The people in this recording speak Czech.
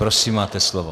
Prosím, máte slovo.